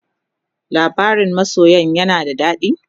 labarain masoyan yana da dadi?